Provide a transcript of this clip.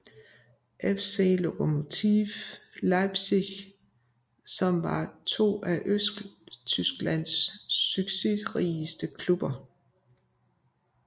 FC Lokomotive Leipzig som var to af Østtysklands succesrigeste klubber